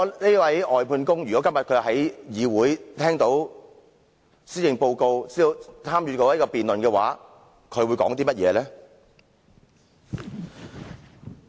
這位外判工如果今天在議會參與施政報告辯論的話，他會說甚麼呢？